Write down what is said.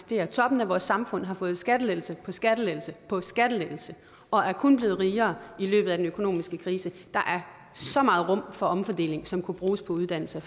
der toppen af vores samfund har fået skattelettelse på skattelettelse på skattelettelse og er kun blevet rigere i løbet af den økonomiske krise der er så meget rum for omfordeling som kunne bruges på uddannelse